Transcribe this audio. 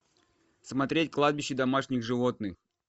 смотреть кладбище домашних животных